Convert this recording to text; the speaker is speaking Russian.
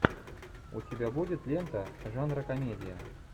у тебя будет лента жанра комедия